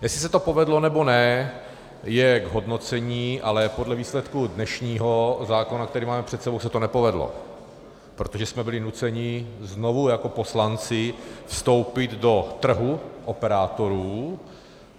Jestli se to povedlo, nebo ne, je k hodnocení, ale podle výsledku dnešního zákona, který máme před sebou, se to nepovedlo, protože jsme byli nuceni znovu jako poslanci vstoupit do trhu operátorů.